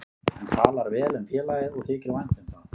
Hann talar vel um félagið og þykir vænt um það.